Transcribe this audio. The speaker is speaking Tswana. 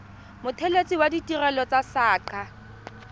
mothelesi wa ditirelo tsa saqa